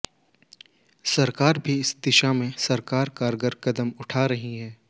सरकार भी इस दिशा में सरकार कारगर कदम उठा रही है